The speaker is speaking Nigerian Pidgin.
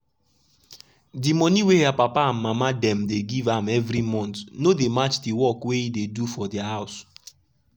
de monie wey her papa and mama dem dey give am every month no dey match de work wey e dey do for dia house.